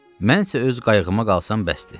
Mən isə öz qayığıma qalsam bəsdir.